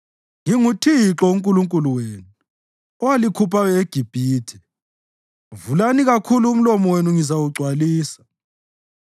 NginguThixo uNkulunkulu wenu, owalikhuphayo eGibhithe. Vulani kakhulu umlomo wenu ngizawugcwalisa.